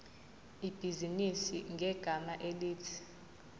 ibhizinisi ngegama elithi